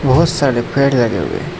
बहुत सारे पेड़ लगे हुए हैं।